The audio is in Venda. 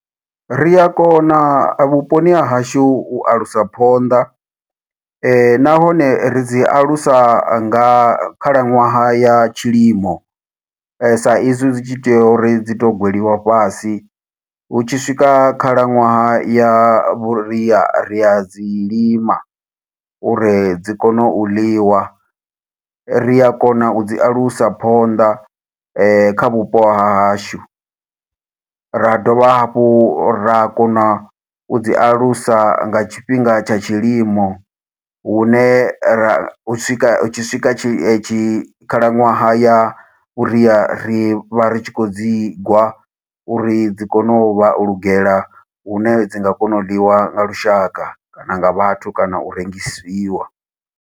Ri a kona vhuponi ha hashu u alusa phonḓa, nahone ri dzi alusa nga khalaṅwaha ya tshilimo. Sa izwi zwi tshi tea uri dzi to gweliwa fhasi, hu tshi swika khalaṅwaha ya vhuria ri a dzi lima, uri dzi kone u ḽiwa. Ri a kona u dzi alusa phonḓa kha vhupo ha hashu, ra dovha hafhu ra kona u dzi alusa nga tshifhinga tsha tshilimo, hune ra hu swika hu tshi swika tshi tshi khalaṅwaha ya a vhuria. Ri vha ri tshi khou dzi gwa, uri dzi kone u vha u lugela hune dzi nga kona u ḽiwa nga lushaka, kana nga vhathu, kana u rengisiwa.